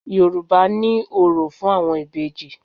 Yorùbá ní òrò fún àwọn Ìbejì.